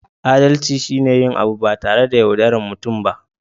Adalci shi ne yin abu ba tare da yaudaran mutum ba